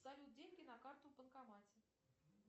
салют деньги на карту в банкомате